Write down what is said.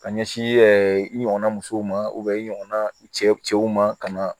Ka ɲɛsin i ɲɔgɔnna musow ma i ɲɔgɔnna i cɛw ma ka na